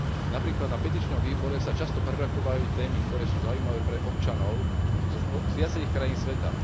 Napríklad na petičnom výbore sa často prerokovávajú témy, ktoré sú zaujímavé pre občanov z viacerých krajín sveta.